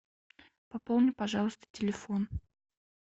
пополни пожалуйста телефон